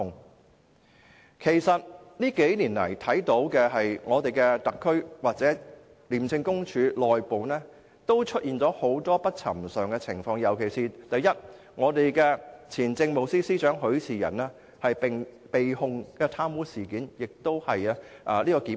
過去數年來，特區政府及廉署內部皆出現了很多不尋常的情況，尤其是前政務司司長許仕仁被控貪污，而且是成功檢控。